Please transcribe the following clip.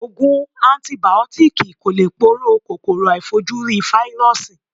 Ògùn antìbìótíkì kò lè poró kòkòrò aàìfojúrí Fáírọ́sì.